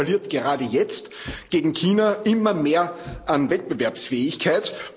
Europa verliert gerade jetzt gegen China immer mehr an Wettbewerbsfähigkeit.